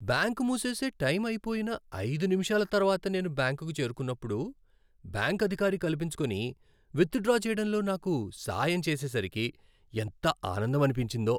Bank మూసేసే time అయిపోయిన ఐదు నిమిషాల తర్వాత నేను బ్యాంకుకు చేరుకున్నప్పుడు బ్యాంకు అధికారి కల్పించుకొని విత్డ్రా చేయడంలో నాకు సాయం చేసేసరికి ఎంత ఆనందమనిపించిందో.